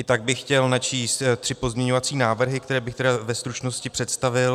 I tak bych chtěl načíst tři pozměňovací návrhy, které bych tedy ve stručnosti představil.